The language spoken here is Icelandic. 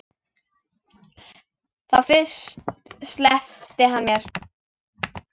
Þá fyrst sleppti hann mér.